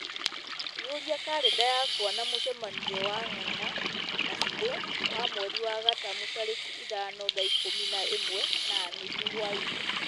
iũria karenda yakwa na mũcemanio na nganga na shiro wa mweri wa gatumu tarĩki ithano thaa ikũmi na ĩmwe na nuthu hwaĩ-inĩ